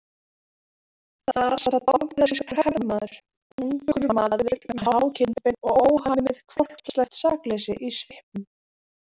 Þar sat bandarískur hermaður, ungur maður með há kinnbein og óhamið hvolpslegt sakleysi í svipnum.